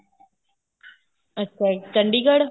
ਅੱਛਾ ਚੰਡੀਗੜ੍ਹ